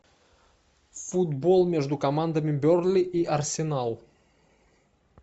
футбол между командами бернли и арсенал